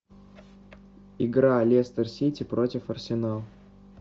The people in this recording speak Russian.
игра лестер сити против арсенала